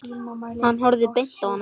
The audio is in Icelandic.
Hann horfði beint á hana.